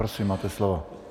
Prosím, máte slovo.